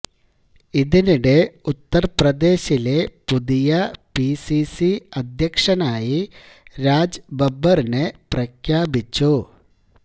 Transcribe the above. ഇതിനിടെ ഉത്തർപ്രദേശിലെ പുതിയ പിസിസി അദ്ധ്യക്ഷനായി രാജ് ബബ്ബറിനെ പ്രഖ്യാപിച്ചു